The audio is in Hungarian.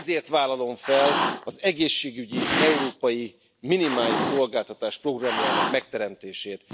Ezért vállalom fel az egészségügyi európai minimális szolgáltatás programjának megteremtését.